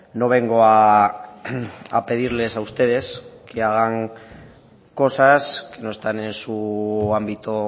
no vengo a pedirles a ustedes que hagan cosas que no están en su ámbito